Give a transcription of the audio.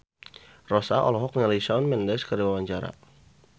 Rossa olohok ningali Shawn Mendes keur diwawancara